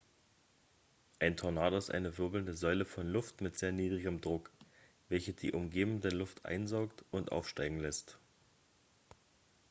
ein tornado ist eine wirbelnde säule von luft mit sehr niedrigem druck welche die umgebende luft einsaugt und aufsteigen lässt